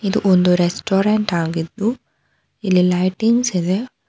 ಇದು ಒಂದು ರೆಸ್ಟೋರೆಂಟ್ ಆಗಿದ್ದು ಇಲ್ಲಿ ಲೈಟಿಂಗ್ಸ್ ಇದೆ.